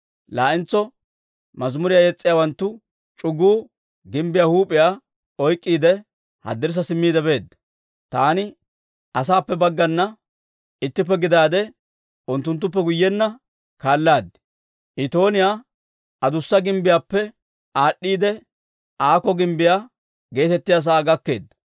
Laa"entso mazimuriyaa yes's'iyaawanttu c'uguu gimbbiyaa huup'iyaa oyk'k'iide, haddirssa simmiide beedda. Taani asaappe baggana ittippe gidaade unttunttuppe guyyenna kaalaad. Itooniyaa adussa Gimbbiyaappe aad'd'iide, Aako Gimbbiyaa geetettiyaa sa'aa gakkeedda.